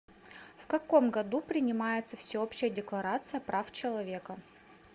в каком году принимается всеобщая декларация прав человека